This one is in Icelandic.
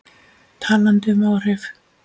Talandi um áhrif.